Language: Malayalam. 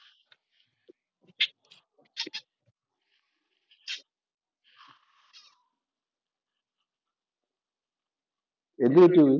എന്തുപറ്റി